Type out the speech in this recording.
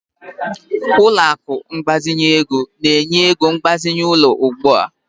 Ụlọ akụ ịgbazinye ego na-enye ego mgbazinye ụlọ ugbu a.